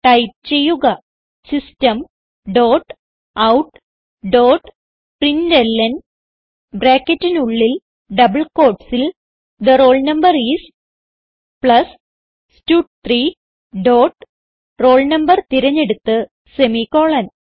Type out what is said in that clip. type ചെയ്യുക system dot out dot println ബ്രാക്കറ്റിനുള്ളിൽ double quotesൽ തെ roll no ഐഎസ് പ്ലസ് സ്റ്റഡ്3 ഡോട്ട് roll no തിരഞ്ഞെടുത്ത് സെമിക്കോളൻ